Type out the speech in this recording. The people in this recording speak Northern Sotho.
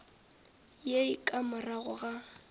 ye e ka morago ga